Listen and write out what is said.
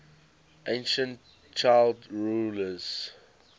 ancient child rulers